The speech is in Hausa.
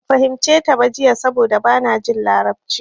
Ban fahimce ta ba jiya saboda bana jin larabci.